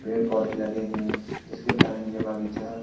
पेड़-पौधे लगे हैं जिसके कारण ये बागीचा --